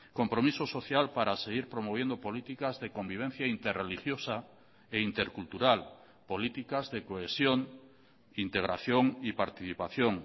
compromiso social para seguir promoviendo políticas de convivencia interreligiosa e intercultural políticas de cohesión integración y participación